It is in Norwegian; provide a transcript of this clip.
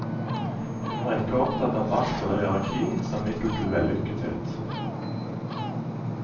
Hun var ikke opptatt av makt eller hierarki som middel til vellykkethet.